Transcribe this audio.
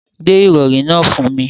Gbé ìrọ̀rí náà fún mi.